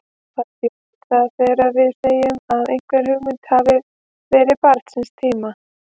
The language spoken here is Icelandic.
Hvað þýðir það þegar við segjum að einhver hugmynd hafi verið barn síns tíma?